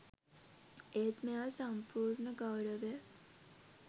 ඒත් මෙයා සම්පූර්ණ ගෞරවය